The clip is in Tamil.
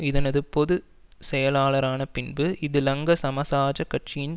இதனது பொது செயலாளரான பின்பு இது லங்கா சமசாஜக் கட்சியின்